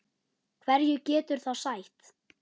Hverju getur það þá sætt?